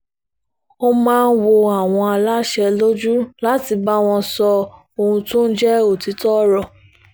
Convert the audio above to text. ó máa ń wọ àwọn aláṣẹ lójú láti bá wọn sọ ohun tó ń jẹ́ òtítọ́ ọ̀rọ̀